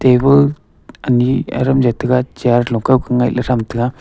ebo ani aram jaw tega chair lokou ko ngaih thram tega.